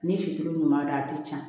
Ni sicogo ɲuman don a tɛ ca